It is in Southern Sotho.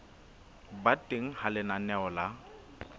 ba teng ha lenaneo la